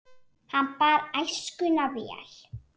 Hann bar æskuna vel.